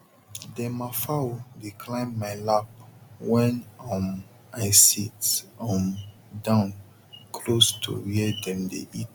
dem ma fowl dey climb ma lap wen um i sit um down close to where dem dey eat